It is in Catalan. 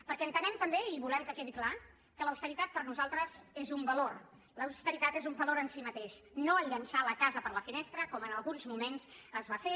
perquè entenem també i volem que quedi clar que l’austeritat per nosaltres és un valor l’austeritat és un valor en si mateix no el fet de llançar la casa per la finestra com en alguns moments es va fer